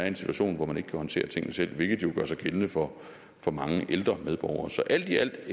en situation hvor man ikke kan håndteres tingene selv hvilket jo gør sig gældende for for mange ældre medborgere så alt i alt er